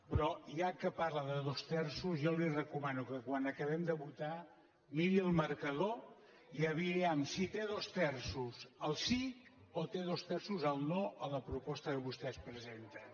però ja que parla de dos terços jo li recomano que quan acabem de votar miri el marcador i vejam si té dos terços el sí o té dos terços el no a la proposta que vostès presenten